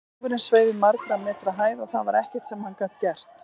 Kláfurinn sveif í margra metra hæð og það var ekkert sem hann gat gert.